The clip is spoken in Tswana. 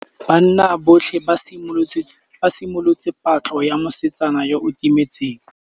Banna botlhê ba simolotse patlô ya mosetsana yo o timetseng.